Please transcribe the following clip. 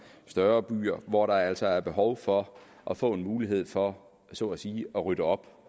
større byer hvor der altså er behov for at få mulighed for så at sige at rydde op